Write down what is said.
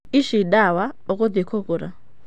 Ici ndawa ũgũthiĩ kũgũra.